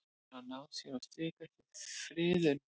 Hefur hann náð sér á strik eftir friðun?